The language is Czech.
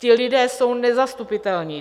Ti lidi jsou nezastupitelní.